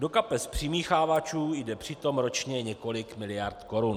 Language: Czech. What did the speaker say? Do kapes přimíchávačů jde přitom ročně několik miliard korun.